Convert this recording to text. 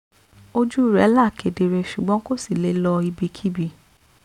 ojú rẹ̀ là kedere ṣùgbọ́n kò sì le lọ ibikíbi